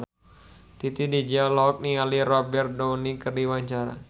Titi DJ olohok ningali Robert Downey keur diwawancara